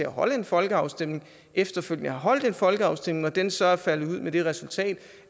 holde en folkeafstemning efterfølgende har holdt en folkeafstemning og den så er faldet ud med det resultat